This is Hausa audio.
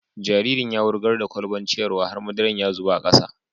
Jaririn ya wurgar da kwalbar ciyarwa har madaran ya zuba a kasa.